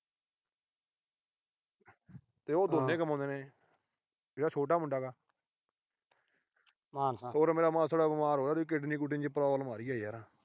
ਤੇ ਉਹ ਦੋਨੇਂ ਕਮਾਉਂਦੇ ਨੇ। ਜਿਹੜਾ ਛੋਟਾ ਮੁੰਡਾ ਗਾ। ਹੋਰ ਮੇਰਾ ਮਾਸੜ ਬੀਮਾਰ ਹੋ ਗਿਆ, ਉਹਦੀ kidney ਕੂਡਨੀ ਚ problem ਆ ਰਹੀ ਆ ਯਾਰ।